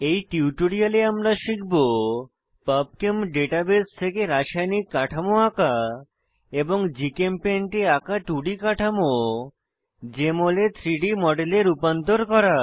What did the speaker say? এই টিউটোরিয়ালে আমরা শিখব পাবচেম ডাটাবেস থেকে রাসায়নিক কাঠামো আঁকা এবং জিচেমপেইন্ট এ আঁকা 2ডি কাঠামো জেএমএল এ 3ডি মডেলে রূপান্তর করা